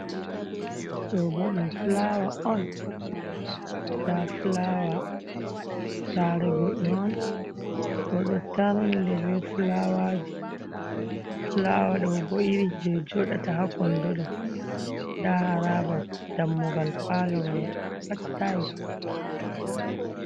Ɗobo ɗum fulawa on. Nda fulawa sare goɗɗo on oɗo tarni ɗe be fulawaji. Fulawa ɗobo iri je joɗata ha kondo ɗo nda haraba dammugal palo mai pat tayis ko voɗa.